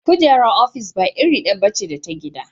Kujerar ofis ba iri ɗaya ba ce da ta gida.